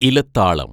ഇലത്താളം